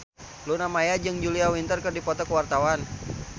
Luna Maya jeung Julia Winter keur dipoto ku wartawan